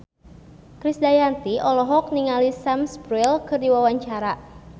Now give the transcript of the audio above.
Krisdayanti olohok ningali Sam Spruell keur diwawancara